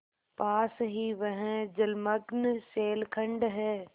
पास ही वह जलमग्न शैलखंड है